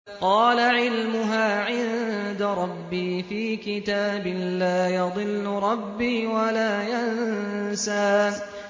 قَالَ عِلْمُهَا عِندَ رَبِّي فِي كِتَابٍ ۖ لَّا يَضِلُّ رَبِّي وَلَا يَنسَى